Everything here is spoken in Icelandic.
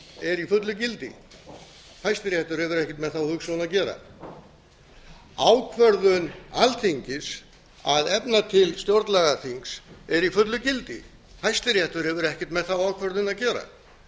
er í fullu gildi hæstiréttur hefur ekkert með þá hugsjón að gera ákvörðun alþingis að efna til stjórnlagaþings er í fullu gildi hæstiréttur hefur ekkert með þá ákvörðun að gera